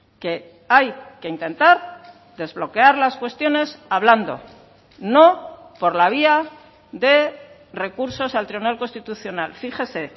que hay que intentar desbloquear las cuestiones hablando no por la vía de recursos al tribunal constitucional fíjese